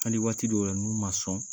Hali waati min na n'u ma sɔn